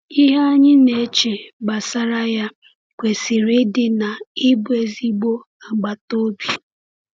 Ihe anyị na-eche gbasara ya kwesịrị ịdị na ịbụ ezigbo agbata obi.